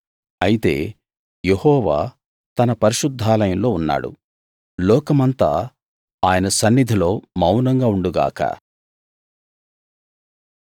అయితే యెహోవా తన పరిశుద్ధాలయంలో ఉన్నాడు లోకమంతా ఆయన సన్నిధిలో మౌనంగా ఉండు గాక